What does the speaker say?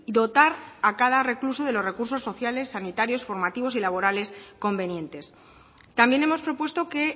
dotar a cada recluso de los recursos sociales sanitarios formativos y laborales convenientes también hemos propuesto que